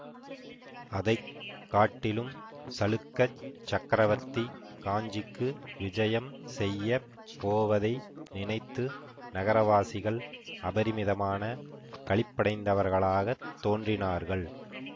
அதை காட்டிலும் சளுக்கச் சக்கரவர்த்தி காஞ்சிக்கு விஜயம் செய்ய போவதை நினைத்து நகர வாசிகள் அபரிமிதமான களிப்படைந்தவர்களாகத் தோன்றினார்கள்